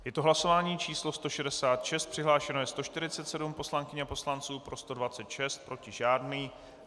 Je to hlasování číslo 166, přihlášeno je 147 poslankyň a poslanců, pro 126, proti žádný.